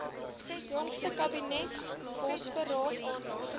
jongste kabinetsbosberaad aandag